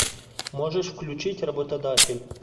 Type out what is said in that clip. можешь включить работодатель